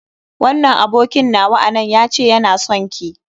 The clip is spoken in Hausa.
Wannan abokin nawa a nan ya ce yana sonki.